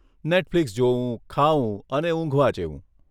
Netflix જોવું, ખાવું અને ઊંઘવા જેવું.